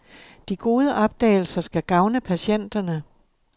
De gode opdagelser skal gavne patienterne.